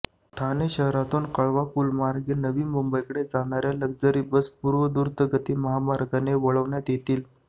ठाणे शहरातून कळवा पुलामार्गे नवी मुंबईकडे जाणाऱ्या लग्झरी बस पूर्वद्रुतगती महामार्गाने वळविण्यात येतील